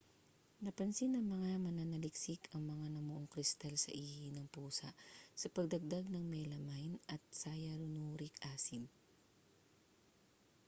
napansin ng mga mananaliksik ang mga namuong kristal sa ihi ng pusa sa pagdagdag ng melamine at cyanuric acid